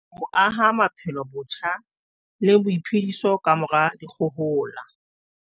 Ho aha maphelo botjha le boiphediso kamora dikgohola